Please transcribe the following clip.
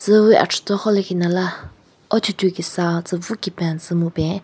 Tsüwi achuthon khon lekhinala kesa tsu pvu kipen tsu mupen.